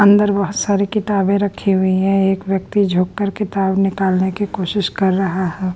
अंदर बहुत सारी किताबें रखी हुई हैं एक व्यक्ति झुककर किताब निकालने की कोशिश कर रहा है।